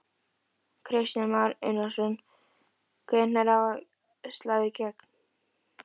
Kristján Már Unnarsson: Hvenær á svo að slá í gegn?